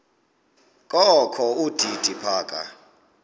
kokho udidi phaka